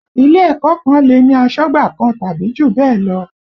Ilé ẹ̀kọ́ kan lè ní asọ́gbà kan tàbí jù bẹ́ẹ̀ lọ